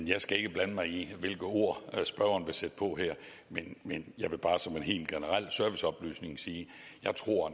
jeg skal ikke blande mig i hvilke ord spørgeren vil sætte på her men men jeg vil bare som en helt generel serviceoplysning sige at jeg tror